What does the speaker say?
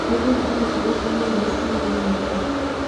nĩ ũrugarĩ ũrĩkũ mũnene kiumia gĩkĩ